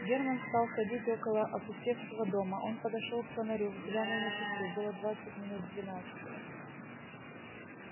германн стал ходить около опустевшего дома он подошёл к фонарю взглянул на часы было двадцать минут двенадцатого